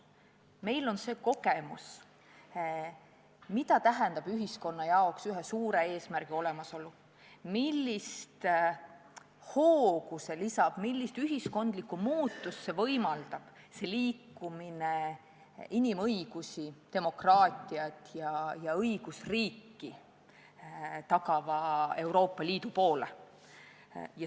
Meil on see kogemus, mida tähendab ühiskonnale ühe suure eesmärgi olemasolu, millist hoogu lisab, millist ühiskondlikku muutust võimaldab liikumine inimõigusi, demokraatiat ja õigusriiki tagava Euroopa Liidu poole.